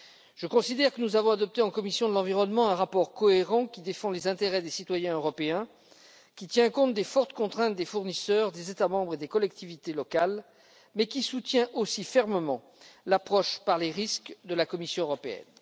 Je considère que nous avons adopté en commission de l'environnement, de la santé publique et de la sécurité alimentaire un rapport cohérent qui défend les intérêts des citoyens européens, qui tient compte des fortes contraintes des fournisseurs, des États membres et des collectivités locales, mais qui soutient aussi fermement l'approche par les risques de la Commission européenne.